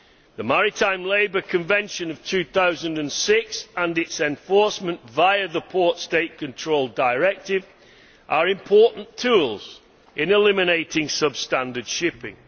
The Maritime Labour Convention of 2006 and its enforcement via the Port State Control Directive are important tools in eliminating substandard shipping.